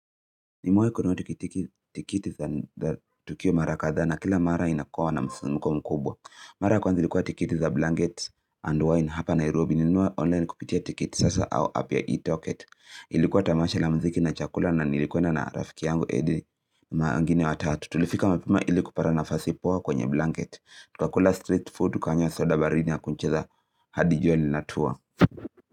Nimewahi kununua kitiki tikiti za tukio mara kadhaa, na kila mara inakuwa na msisimko mkubwa. Mara ya kwanza ilikuwa tikiti za blankets and wine hapa Nairobi nilinunua online kupitia tikiti sasa au app ya e-toket. Ilikuwa tamasha la mziki na chakula na nilikua na na rafiki yangu Edith na wengine watatu. Tulifika mapema ili kupata nafasi poa kwenye blankets. Tukakula street food tukanywa soda baridi na kucheza hadi jua linatua.